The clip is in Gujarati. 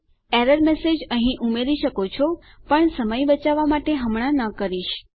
તમે એરર મેસેજ અહીં ઉમેરી શકો છો પણ સમય બચાવવા માટે હમણાં ન કરીશ